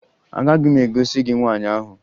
Agaghị m egosi gị nwaanyị ahụ